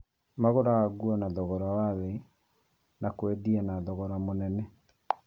Magũraga nguo na thogora mũnini na kwendia na thogora mũnene